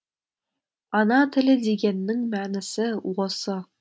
ана тілі дегеннің мәнісі осы